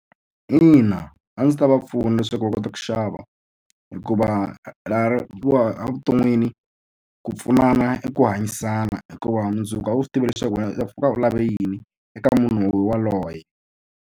Ina a ndzi ta va pfuna leswaku va kota ku xava hikuva laha wa evuton'wini ku pfunana i ku hanyisana hikuva mundzuku a wu swi tivi leswaku wena u pfuka u lava yini eka munhu waloye.